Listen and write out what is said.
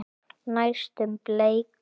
Næstum bleik.